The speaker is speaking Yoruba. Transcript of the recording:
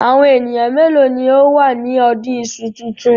Àwọn ènìyàn mélòó ni ó wà ní ọdún iṣu tuntun?